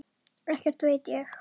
Ekkert veit ég.